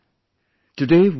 My dear countrymen,